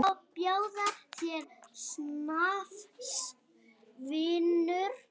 Má bjóða þér snafs, vinur?